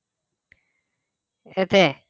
set A